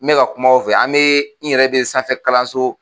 N bɛ ka kuma aw fɛ an bɛ n yɛrɛ bɛ sanfɛ kalanso